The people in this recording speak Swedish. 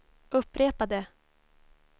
upprepade